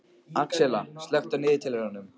Axelma, slökktu á niðurteljaranum.